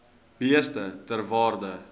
beeste ter waarde